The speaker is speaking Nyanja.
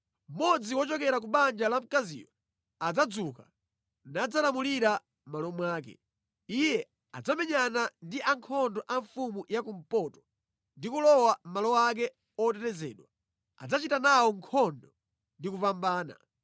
“Mmodzi wochokera ku banja la mkaziyo adzadzuka nadzalamulira mʼmalo mwake. Iye adzamenyana ndi ankhondo a mfumu ya kumpoto ndi kulowa mʼmalo ake otetezedwa; adzachita nawo nkhondo ndi kupambana.